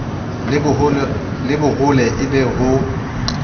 le bohole e be ho